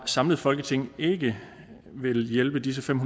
samlet folketing ikke vil hjælpe disse fem